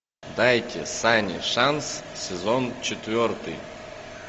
дайте сане шанс сезон четвертый